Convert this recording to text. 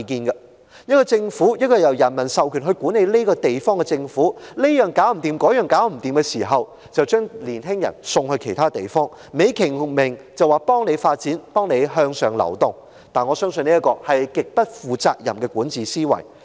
一個政府，一個由人民授權管治這個地方的政府，這樣做不來，那樣也做不好，卻把年青人送到其他地方，還美其名是幫助他們發展、向上流動，我相信這是極不負責任的管治思維。